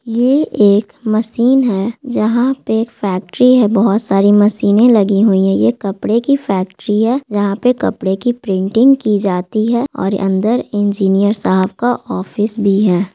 ये एक मशीन हैं जहाँ एक फैक्ट्री हैं बहोत सारी मशीन लगे हुए ये कपड़े की फैक्ट्री है यहाँ पे कपड़े की प्रिंटिंग की जाती हैं और अंदर इंजीनियर साहब का ऑफिस भी हैं।